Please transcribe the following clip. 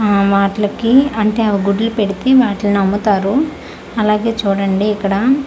ఆ వాట్లకి అంటే అవి గుడ్లు పెడితే వాట్లని అమ్ముతారు అలాగే చూడండి ఇక్కడ అ--